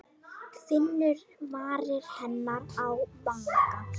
Finnur varir hennar á vanga.